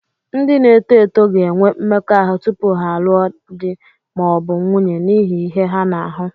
Ndị na-eto eto ga-enwe mmekọahụ tupu ha alụọ di ma ọ bụ nwunye n'ihi ihe ha na-ahụ